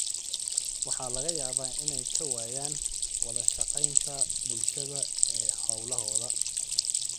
Waxa laga yaabaa inay ka waayaan wada shaqaynta bulshada ee hawlahooda.